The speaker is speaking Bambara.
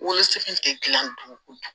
Wolosɛbɛn tɛ gilan dun kojugu